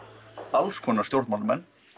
alls konar stjórnmálamenn